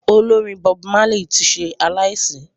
Olórin Bob Marley tí ṣe aláìsí